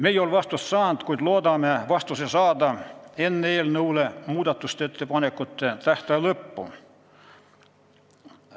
Me ei ole vastust saanud, kuid loodame selle saada enne eelnõu muudatusettepanekute tähtaja lõppu.